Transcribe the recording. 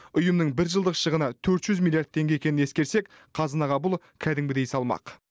ұйымның бір жылдық шығыны төрт жүз миллиард теңге екенін ескерсек қазынаға бұл кәдімгідей салмақ